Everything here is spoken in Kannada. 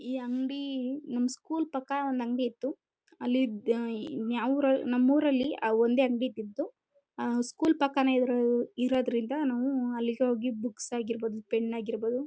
ಈ ಅಂಗಡಿ ನಮ್ಮ ಸ್ಕೂಲ್ ಪಕ್ಕ ಒಂದು ಅಂಗಡಿ ಇತ್ತು ಅಲ್ಲಿ ಅಹ್ ಅಹ್ ಯಾವೂರು ನಮ್ಮೂರಲ್ಲಿ ಒಂದೇ ಅಂಗಡಿ ಇತ್ತು ಅಹ್ ಅಹ್ ಸ್ಕೂಲ್ ಪಕ್ಕ ಇರೋದ್ರಿಂದ ಇರೋದ್ರಿಂದ ನಾವು ಅಲ್ಲಿಗೆ ಹೋಗಿ ಬುಕ್ಸ್ ಆಗಿರಬಹುದು ಪೆನ್ ಆಗಿರಬಹುದು.